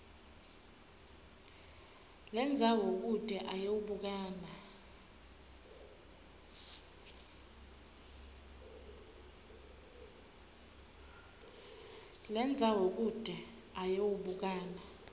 lendzawo kute ayewubukana